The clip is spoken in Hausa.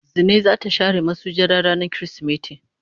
Zinai za ta share masujada rana kirisimeti.